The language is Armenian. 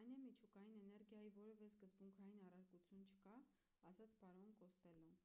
այն է միջուկային էներգիայի որևէ սկզբունքային առարկություն չկա ասաց պարոն կոստելլոն